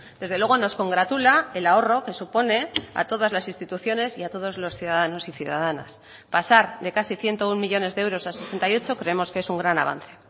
desde luego nos congratula el ahorro que supone a todas las instituciones y a todos los ciudadanos y ciudadanas pasar de casi ciento uno millónes de euros a sesenta y ocho creemos que es un gran avance